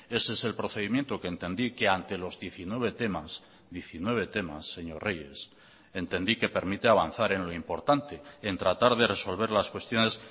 ese es el procedimiento que entendí que ante los diecinueve temas diecinueve temas señor reyes entendí que permite avanzar en lo importante en tratar de resolver las cuestiones